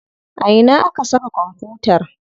A ta ina aka saka kwamfutar?